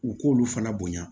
U k'olu fana bonya